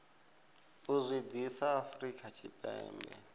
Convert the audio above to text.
u zwi ḓisa afrika tshipembe